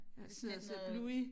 Ja jeg sidder og ser Bluey